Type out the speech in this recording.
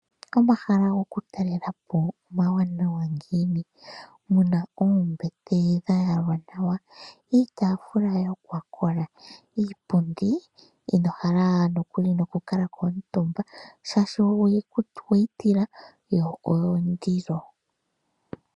Omahala gokutalela po omawanawa ngiini! Omu na oombete dha yalwa nawa, iitaafula yokwa kola, iipundi ino hala nokukala ko omutumba shaashi owe yi tila yo oyondilo.